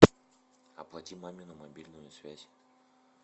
оплати мамину мобильную связь